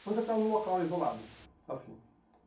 Depois você ficava num local isolado, assim.